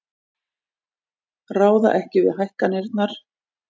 Ráða ekki við hækkanirnar